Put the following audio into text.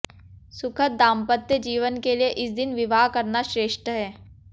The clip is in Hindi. सुखद दांपत्य जीवन के लिए इस दिन विवाह करना श्रेष्ठ है